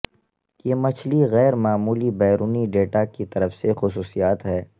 یہ مچھلی غیر معمولی بیرونی ڈیٹا کی طرف سے خصوصیات ہے